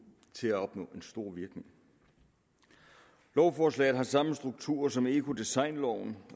til at opnå en stor virkning lovforslaget har samme struktur som ecodesignloven